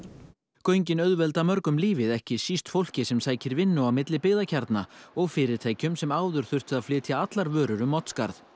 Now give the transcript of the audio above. göngin auðvelda mörgum lífið ekki síst fólki sem sækir vinnu á milli byggðakjarna og fyrirtækjum sem áður þurftu að flytja allar vörur um Oddsskarð